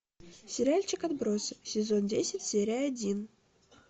сериальчик отбросы сезон десять серия один